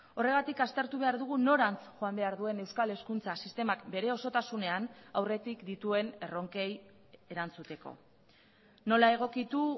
horregatik aztertu behar dugu norantz joan behar duen euskal hezkuntza sistemak bere osotasunean aurretik dituen erronkei erantzuteko nola egokitu